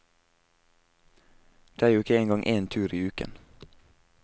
Det er jo ikke engang én tur i uken.